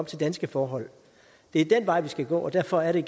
til danske forhold det er den vej vi skal gå og derfor er det